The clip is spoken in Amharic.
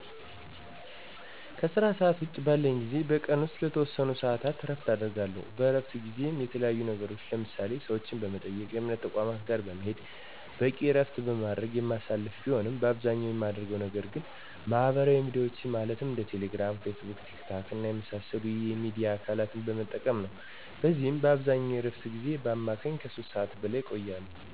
ከስራ ሰዓት ውጭ ባለኝ ጊዜ በቀን ውስጥ ለተወሰኑ ሰዓታት እረፍት አደርጋለሁ። በእረፍት ጊዜየ የተለያዩ ነገሮችን ለምሳሌ፦ ሰዎችን በመጠየቅ፣ የእምነት ተቋማት ጋር በመሄድ፣ በቂ እረፍት በማድረግ የማሳልፍ ቢሆንም በአብዛኛው የማደርገው ነገር ግን ማህበራዊ ሚዲያዎችን ማለትም እንደ ቴሌ ግራም፣ ፌስቡክ፣ ቲክ ታክ እና የመሳሰሉት የሚዲያ አካለትን በመጠቀም ነው። በዚህም አብዛኛውን የእረፍቴን ጊዜ በአማካኝ ከ 3 ሰዓት በላይ እቆያለሁ።